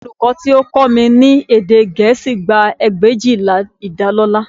Olùkọ́ tí ó ń kọ́ mi ní èdè Gẹ̀ẹ́sì gba ẹgbẹ̀éjìlá ìdálọ́lá